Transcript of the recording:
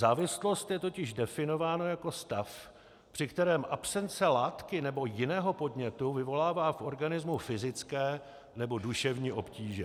Závislost je totiž definována jako stav, při kterém absence látky nebo jiného podnětu vyvolává v organismu fyzické nebo duševní obtíže.